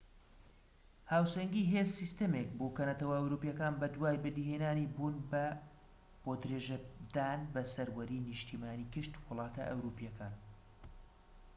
هاوسەنگی هێز سیستەمێک بوو کە نەتەوە ئەوروپیەکان بەدوای بەدی هێنانی بوون بۆ درێژەدان بە سەروەری نیشتیمانی گشت وڵاتە ئەوروپیەکان